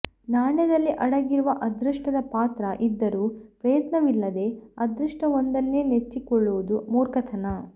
ನಾಣ್ಯದಲ್ಲಿ ಅಡಗಿರುವ ಅದೃಷ್ಟದ ಪಾತ್ರ ಇದ್ದರೂ ಪ್ರಯತ್ನವಿಲ್ಲದೇ ಅದೃಷ್ಟವೊಂದನ್ನೇ ನೆಚ್ಚಿಕೊಳ್ಳುವುದು ಮೂರ್ಖತನ